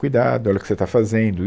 Cuidado, olha o que você está fazendo.